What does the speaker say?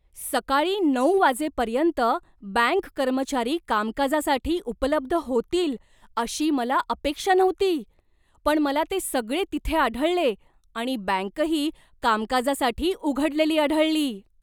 सकाळी नऊ वाजेपर्यंत बँक कर्मचारी कामकाजासाठी उपलब्ध होतील अशी मला अपेक्षा नव्हती, पण मला ते सगळे तिथे आढळले आणि बँकही कामकाजासाठी उघडलेली आढळली!